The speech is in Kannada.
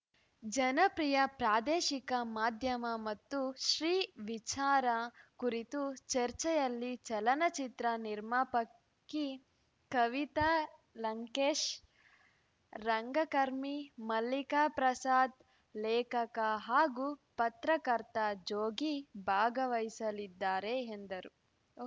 ಜನಪ್ರಿಯ ಪ್ರಾದೇಶಿಕ ಮಾಧ್ಯಮ ಮತ್ತು ಶ್ರೀ ವಿಚಾರ ಕುರಿತ ಚರ್ಚೆಯಲ್ಲಿ ಚಲನಚಿತ್ರ ನಿರ್ಮಾಪಕಿ ಕವಿತಾ ಲಂಕೇಶ್‌ ರಂಗಕರ್ಮಿ ಮಲ್ಲಿಕಾ ಪ್ರಸಾದ್‌ ಲೇಖಕ ಹಾಗೂ ಪತ್ರಕರ್ತ ಜೋಗಿ ಭಾಗವಹಿಸಲಿದ್ದಾರೆ ಎಂದರು